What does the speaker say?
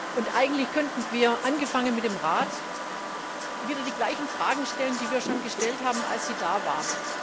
Und eigentlich könnten wir angefangen mit dem Rat wieder die gleichen Fragen stellen, die wir schon gestellt haben, als Sie da waren.